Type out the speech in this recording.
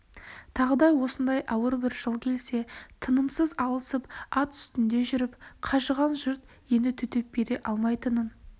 тағы да осындай ауыр бір жыл келсе тынымсыз алысып ат үстінде жүріп қажыған жұрт енді төтеп бере алмайтынын